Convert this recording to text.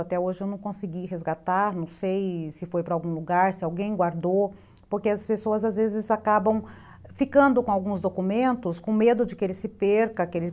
Até hoje eu não consegui resgatar, não sei se foi para algum lugar, se alguém guardou, porque as pessoas às vezes acabam ficando com alguns documentos com medo de que ele se perca, que ele...